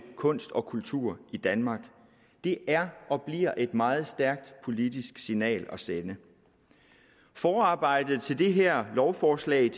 kunst og kultur i danmark det er og bliver et meget stærkt politisk signal at sende forarbejdet til det her lovforslag